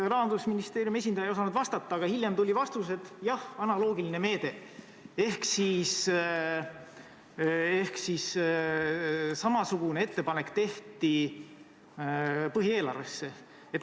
Rahandusministeeriumi esindaja ei osanud vastata, aga hiljem tuli vastus, et jah, see on analoogiline meede – ehk samasugune ettepanek tehti põhieelarve kohta.